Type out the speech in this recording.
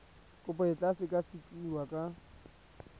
kopo e tla sekasekiwa ka